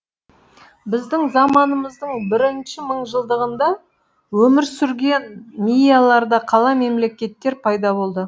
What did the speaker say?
біздің заманымыздың бірінші мыңжылдығында өмір сүрген мияларда қала мемлекеттер пайда болды